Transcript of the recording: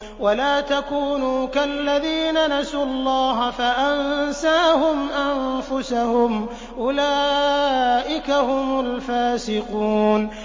وَلَا تَكُونُوا كَالَّذِينَ نَسُوا اللَّهَ فَأَنسَاهُمْ أَنفُسَهُمْ ۚ أُولَٰئِكَ هُمُ الْفَاسِقُونَ